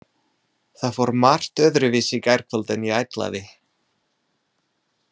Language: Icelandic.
Það fór margt öðruvísi í gærkvöld en ég ætlaði.